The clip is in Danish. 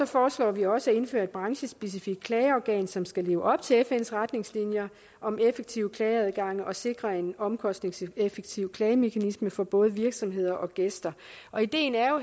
foreslår vi også at indføre et branchespecifikt klageorgan som skal leve op til fns retningslinjer om effektive klageadgange og sikre en omkostningseffektiv klagemekanisme for både virksomheder og gæster og ideen